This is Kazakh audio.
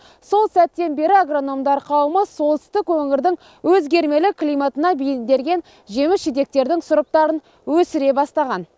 сол сәттен бері агрономдар қауімі солтүстік өңірдің өзгермелі климатына бейімделген жеміс жидектердің сұрыптарын өсіре бастаған